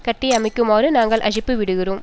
கட்டியமைக்குமாறு நாங்கள் அழைப்பு விடுகிறோம்